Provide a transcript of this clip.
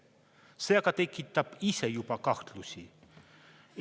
See aga tekitab ise juba kahtlusi.